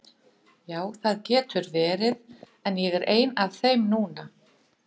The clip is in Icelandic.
Ja, það getur vel verið, en ég er ein af þeim núna.